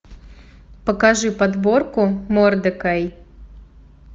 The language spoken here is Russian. покажи подборку мордекай